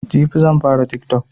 Jibi zanfara tiktok